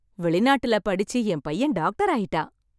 வெளிநாட்டில் படிச்சு என் பையன் டாக்டராயிட்டான்